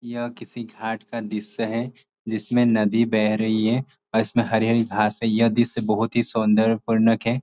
यह किसी घाट का दृश्य है जिसमें नदी बह रही है और इस में हरी-हरी घांस है यह दृश्य बहुत ही सुंदर पूर्वक है।